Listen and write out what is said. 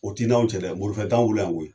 O t'i n' anw cɛ dɛ morifa t'an bolo yan koyi